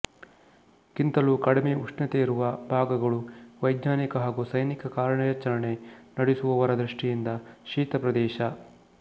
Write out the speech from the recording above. ಗಿಂತಲೂ ಕಡಿಮೆ ಉಷ್ಣತೆಯಿರುವ ಭಾಗಗಳು ವೈಜ್ಞಾನಿಕ ಹಾಗೂ ಸೈನಿಕ ಕಾರ್ಯಾಚರಣೆ ನಡೆಸುವವರ ದೃಷ್ಟಿಯಿಂದ ಶೀತಪ್ರದೇಶ